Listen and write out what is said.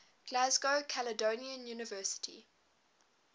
glasgow caledonian university